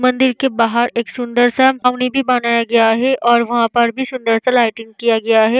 मंदिर के बाहार एक सुंदर सा पावोनि भी बनाये गए है और वहाँ पर भी सुंदर सा लाइटिंग किया गया है।